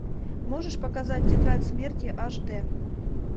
можешь показать тетрадь смерти аш д